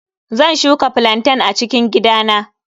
Zan shuka flantain a cikin gidana.